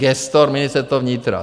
"Gestor: Ministerstvo vnitra.